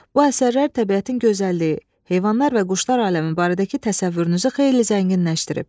Bu əsərlər təbiətin gözəlliyi, heyvanlar və quşlar aləmi barədəki təsəvvürünüzü xeyli zənginləşdirib.